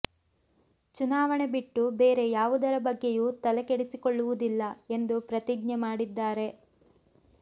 ಚುನಾವಣೆ ಬಿಟ್ಟು ಬೇರೆ ಯಾವುದರ ಬಗ್ಗೆಯೂ ತಲೆ ಕೆಡಿಸಿಕೊಳ್ಳುವುದಿಲ್ಲ ಎಂದು ಪ್ರತಿಜ್ಞೆ ಮಾಡಿದ್ದಾರೆ